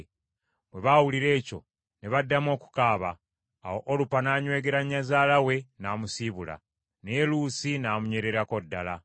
Bwe baawulira ekyo, ne baddamu okukaaba. Awo Olupa n’anywegera nnyazaala we, n’amusiibula. Naye Luusi namunywererako ddala.